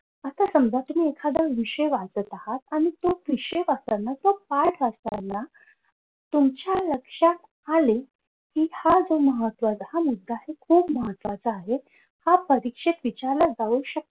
आता समजा तुम्ही एखादा विषय वाचत आहात तो विषय वाचताना किंवा पाठ वाचताना तुमच्या लक्षात आले कि हा जो महत्वाचा मुद्दा आहे तो महत्वाचा आहे हा परीक्षेत विचारला जाऊ शकतो.